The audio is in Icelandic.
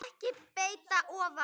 að breidd ofan.